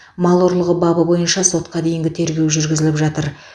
мал ұрлығы бабы бойынша сотқа дейінгі тергеу жүргізіліп жатыр